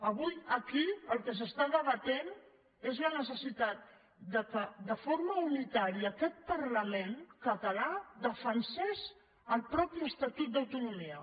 avui aquí el que es debat és la necessitat que de forma unitària aquest parlament català defensés el seu propi estatut d’autonomia